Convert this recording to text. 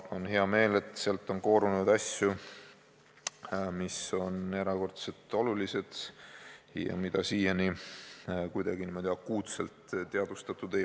On hea meel, et sealt on koorunud asju, mis on erakordselt olulised ja mida siiani ei ole väga akuutselt teadvustatud.